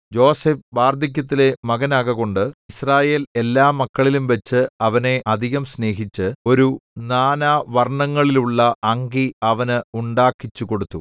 യോസേഫ് വാർദ്ധക്യത്തിലെ മകനാകകൊണ്ട് യിസ്രായേൽ എല്ലാമക്കളിലുംവച്ച് അവനെ അധികം സ്നേഹിച്ച് ഒരു നാനാ വര്‍ണ്ണങ്ങളിലുള്ള അങ്കി അവന് ഉണ്ടാക്കിച്ചു കൊടുത്തു